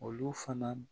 Olu fana